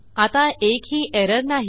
आता एकही एरर नाही